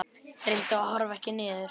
Reyndu að horfa ekki niður.